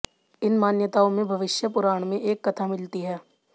इन मान्यताओं में भविष्य पुराण में एक कथा मिलती है